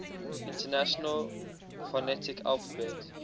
international phonetic alphabet